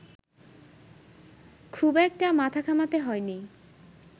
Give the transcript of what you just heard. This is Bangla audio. খুব একটা মাথা ঘামাতে হয়নি